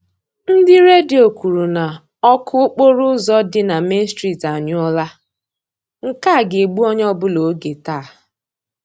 Ndị Redio kwuru na ọkụ okporo ụzọ dị na Main street anyụọla; nke a ga-egbu onye ọbụla oge taa.